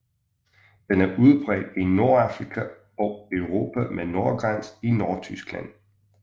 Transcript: Den er udbredt i Nordafrika og Europa med nordgrænse i Nordtyskland